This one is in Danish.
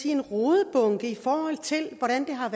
en rodebunke sådan har